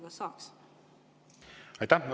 Aitäh!